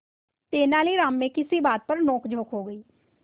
तेनालीराम में किसी बात पर नोकझोंक हो गई